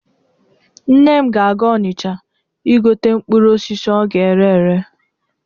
Nne m ga-aga Ọnịcha igote mkpụrụ osisi ọ ga-ere ere.